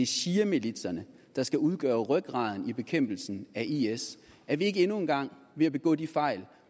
shiamilitserne der skal udgøre rygraden i bekæmpelsen af is er vi ikke endnu en gang ved at begå de fejl